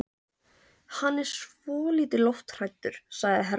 Hann er svolítið lofthræddur, sagði Hermann.